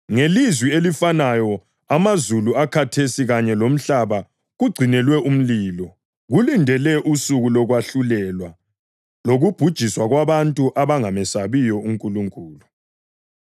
Ngelizwi elifanayo amazulu akhathesi kanye lomhlaba kugcinelwe umlilo, kulindele usuku lokwahlulelwa lokubhujiswa kwabantu abangamesabiyo uNkulunkulu.